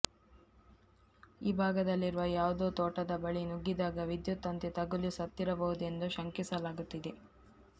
ಈ ಭಾಗದಲ್ಲಿರುವ ಯಾವುದೋ ತೋಟದ ಬಳಿ ನುಗ್ಗಿದಾಗ ವಿದ್ಯುತ್ ತಂತಿ ತಗುಲಿ ಸತ್ತಿರಬಹುದೆಂದು ಶಂಕಿಸಲಾಗುತ್ತಿದೆ